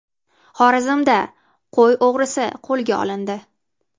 Xorazmda qo‘y o‘g‘risi qo‘lga olindi.